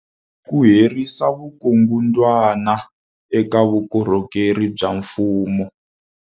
Ku herisa vukungundwani eka vukorhokeri bya mfumo.